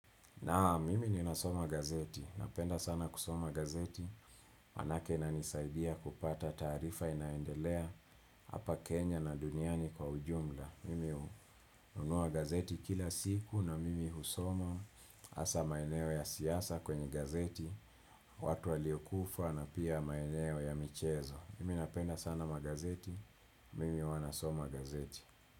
Naam, mimi ninasoma gazeti. Napenda sana kusoma gazeti. Maanake inanisaidia kupata taarifa inaendelea hapa Kenya na duniani kwa ujumla. Mimi hununua gazeti kila siku na mimi husoma hasa maeneo ya siasa kwenye gazeti, watu walio kufa na pia maeneo ya michezo. Mimi napenda sana magazeti. Mimi huwa nasoma gazeti.